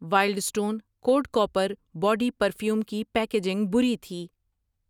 Wild stone code copper body perfume کی packaging بری تھی۔